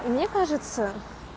мне кажется